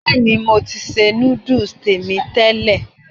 Bẹ́ẹ̀ ni, mo ti ṣe núdùs tèmi tẹ́lẹ̀.